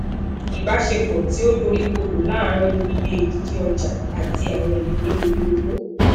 ibasepo ti o dorikodo láarin iye edidi oja ati awọn ele ori owo